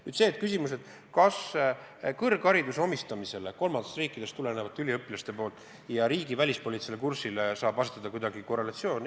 Nüüd see küsimus, kas kõrghariduse omandamisel kolmandatest riikidest tulevate üliõpilaste poolt ja riigi välispoliitilisel kursil saab kehtida mingi korrelatsioon.